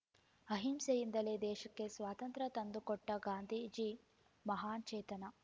ಅಂಹಿಸೆಯಿಂದಲೇ ದೇಶಕ್ಕೆ ಸ್ವಾತಂತ್ರ್ಯ ತಂದುಕೊಟ್ಟಗಾಂಧೀಜಿ ಮಹಾನ್‌ ಚೇತನ